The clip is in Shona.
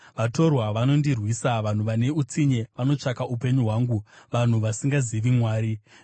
Vatorwa vanondirwisa; vanhu vane utsinye vanotsvaka upenyu hwangu, vanhu vasingazivi Mwari. Sera